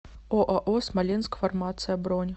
оао смоленск фармация бронь